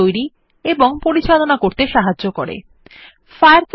Syncপ্যানেলের আপনাকে set up করতে অথবা একটি ফায়ারফক্স সিঙ্ক অ্যাকাউন্ট পরিচালনা করবে